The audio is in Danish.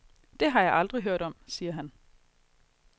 Det har jeg aldrig hørt om, siger han.